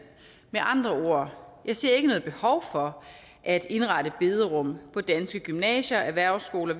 med andre jeg ser ikke noget behov for at indrette bederum på danske gymnasier erhvervsskoler